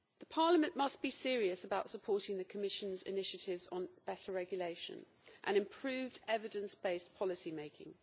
Parliament must be serious about supporting the Commission's initiatives on better regulation and improved evidence based policy making.